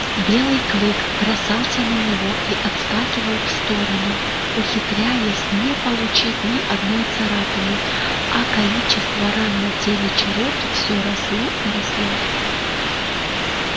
белый клык бросался на него и отскакивал в сторону ухитряясь не получить ни одной царапины а количество ран на теле чероки всё росло и росло